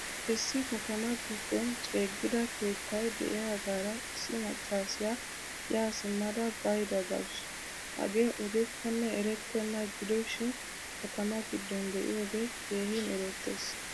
Issi katama giddon ceegida keettay de'iyagaara issi maccasiyaa yaa simada baydda deawusu. Hagee ogekkone erettena gidoshin katama giddon deiiyoge keehin erettees.